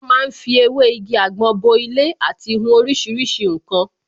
Wọ́n ma ń fi ewé igi àgbọn bo ilé àti hun oríṣiríṣi ǹkan